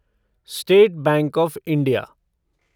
state bank of India